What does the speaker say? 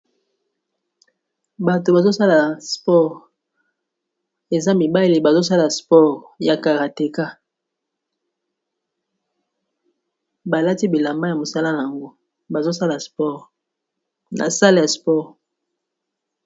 Bato bazosala sports eza mibali bazosala sports ya karateka balati bilamba ya mosala na yango bazosala sports n'a salle spore